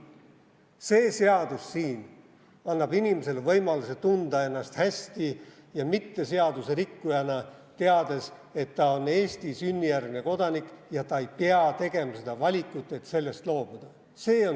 See seadus siin annab inimesele võimaluse tunda ennast hästi ja mitte seaduserikkujana, teades, et ta on Eesti sünnijärgne kodanik ja ta ei pea tegema valikut, et sellest loobuda.